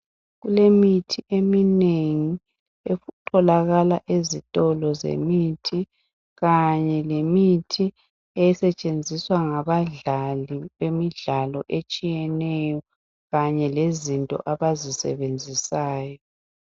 Kulemithi eminengi etholakala ezitolo zemithi kanye lemithi esetshenziswa ngabadlali bemidlalo etshiyeneyo kanye lezinto abazisebenzisayo.